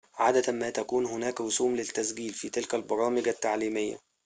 عادة ما تكون هناك رسوم للتسجيل في تلك البرامج التعليمية